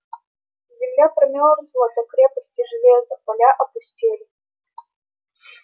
земля промёрзла до крепости железа поля опустели